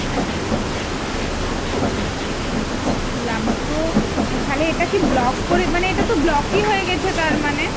বুঝলাম তো তাহলে এটাকি block করে মানে এটাতো block ই হয়ে গেছে তারমানে ?